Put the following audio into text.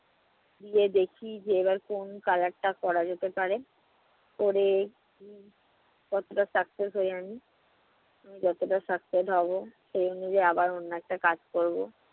গিয়ে দেখি এবার কোন color টা করা যেতে পারে করে কতটা success হয় আমি। যতটা success হবো সে অনুযায়ী অন্য একটা কাজ করবো।